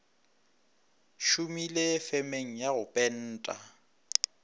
šomile femeng ya go penta